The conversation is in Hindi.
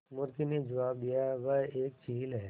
मुर्गी ने जबाब दिया वह एक चील है